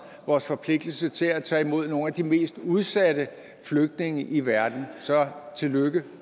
vores forpligtelse til at tage imod nogle af de mest udsatte flygtninge i verden så tillykke